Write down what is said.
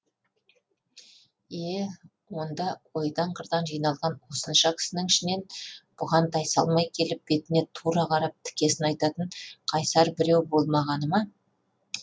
е онда ойдан қырдан жиналған осынша кісінің ішінен бұған тайсалмай келіп бетіне тура қарап тікесін айтатын қайсар біреу болмағаны ма